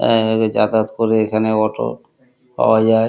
এ যাতায়াত করে এখানে অটো পাওয়া যায় ।